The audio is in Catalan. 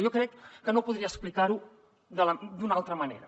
jo crec que no podria explicar ho d’una altra manera